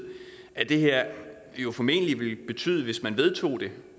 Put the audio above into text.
at det her jo formentlig ville betyde hvis man vedtog det